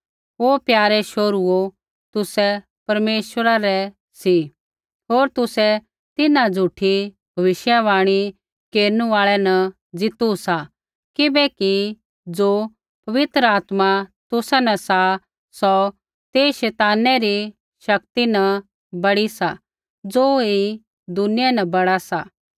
ओ प्यारे शोहरूओ तुसै परमेश्वरा रै सी होर तुसै तिन्हां झ़ूठी भविष्यवाणी केरनु आल़ै न जीतू सा किबैकि ज़ो पवित्र आत्मा तुसा न सा सौ तेई शैतानै री शक्ति न बड़ी सा ज़ो ऐई दुनिया न बड़ा सा